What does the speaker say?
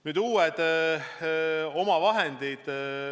Nüüd uutest omavahenditest.